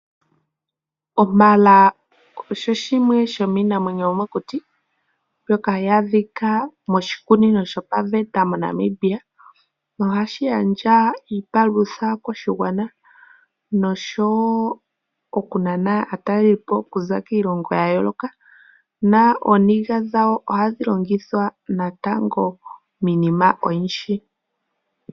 Ompala osho shimwe shomiinamwenyo yomokuti ndjoka hayi adhika moshikunino shopaveta moNamibia nohashi gandja iipalutha koshigwana noshowo okunana aatalelipo okuza kiilongo ya yooloka. Ooniga dhayo ohadhi longitwa natango miinima oyindji.